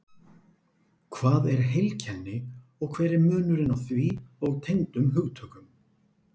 Hvað er heilkenni og hver er munurinn á því og tengdum hugtökum?